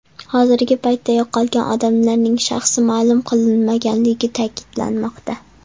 Hozirgi paytda yo‘qolgan odamlarning shaxsi ma’lum qilinmaganligi ta’kidlanmoqda.